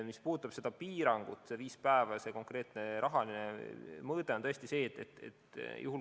Mis puudutab neid piiranguid, seda viit päeva ja seda konkreetset rahalist piirangut, siis nende mõte on see.